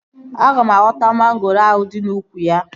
Aga m awọta mangoro ahụ dị n'úkwù ya